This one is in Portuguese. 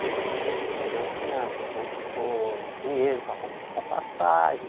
Porque não tinha vamos supor dinheiro para com para passagem.